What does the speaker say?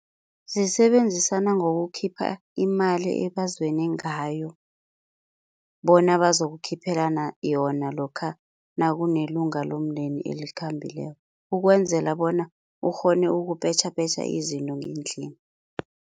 Zisebenzisana ngokukhipha imali ebazwene ngayo, bona bazokukhiphelana yona lokha nakunelunga lomndeni elikhambileko ukwenzela bona ukghone ukupetjhapetjha izinto ngendlini.